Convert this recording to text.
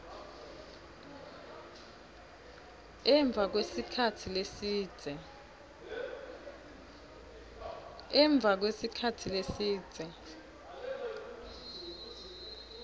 emva kwesikhatsi lesidze